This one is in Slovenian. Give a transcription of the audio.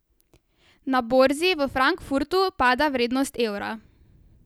Na borzi v Frankfurtu pada vrednost evra.